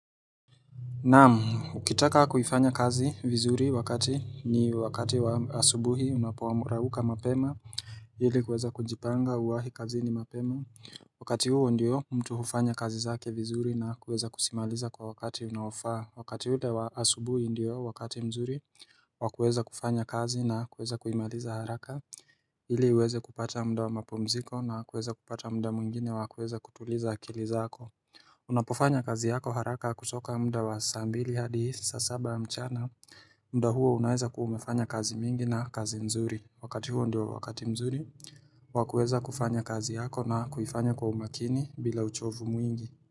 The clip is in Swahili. Naam, ukitaka kuifanya kazi vizuri wakati ni wakati wa asubuhi unapoamka amka mapema ili kuweza kujipanga uwahi kazini mapema Wakati huo ndiyo mtu hufanya kazi zake vizuri na kuweza kusimaliza kwa wakati unaofaa Wakati ule wa asubuhi ndiyo wakati mzuri wakueza kufanya kazi na kuweza kuimariza haraka ili uweze kupata muda wa mapumziko na kuweza kupata muda mwingine wa kuweza kutuliza akili zako Unapofanya kazi yako haraka kusoka muda wa saa mbili hadi saa saba mchana muda huo unaeza kuwa umefanya kazi mingi na kazi mzuri Wakati huo ndio wakati mzuri wa kuweza kufanya kazi yako na kuifanya kwa umakini bila uchovu mwingi.